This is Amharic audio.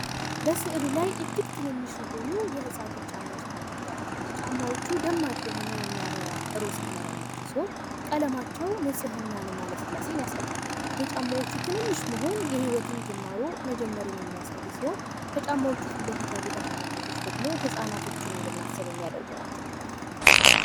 በሥዕሉ ላይ እጅግ ትንንሽ የሆኑ የህጻን ልጅ ጫማዎች ተመልክተዋል። ጫማዎቹ ደማቅ የሆነ የሚያበራ ሮዝ ቀለም ያላቸው ሲሆን፤ ቀለማቸው ንፅህና እና ልስላሴን ያሳያል። የጫማዎቹ ትንሽ መሆኑን የሕይወትን ጅማሮ መጀመሩን የሚያሳይ ሲሆን ። ከጫማው ፊት ለፊት ያሉት አሻንጉሊቶች ደግሞ ህፃናቶችን እንድናስብ የሚያደርጉ ናቸው።